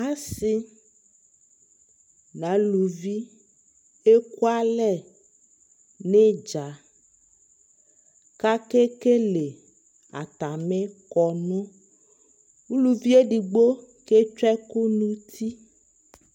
Asɩ n'aluvi ekualɛ n'ɩdza ; k'akekele atamɩ kɔnʋ Uluvi edigbo ketsue ɛkʋ n'uti